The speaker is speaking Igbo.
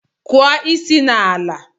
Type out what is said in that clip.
Kụọ isi n'ala!